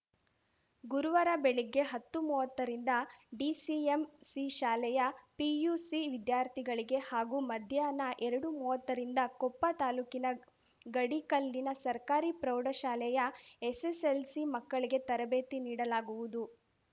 ಗುರುವಾರ ಬೆಳಗ್ಗೆ ಹತ್ತುಮೂವತ್ತ ರಿಂದ ಡಿಸಿಎಂಸಿ ಶಾಲೆಯ ಪಿಯು ಸಿ ವಿದ್ಯಾರ್ಥಿಗಳಿಗೆ ಹಾಗೂ ಮಧ್ಯಾಹ್ನ ಎರಡುಮೂವತ್ತ ರಿಂದ ಕೊಪ್ಪ ತಾಲೂಕಿನ ಗಡಿಕಲ್ಲಿನ ಸರ್ಕಾರಿ ಪ್ರೌಢ ಶಾಲೆಯ ಎಸ್‌ಎಸ್‌ಎಲ್‌ಸಿ ಮಕ್ಕಳಿಗೆ ತರಬೇತಿ ನೀಡಲಾಗುವುದು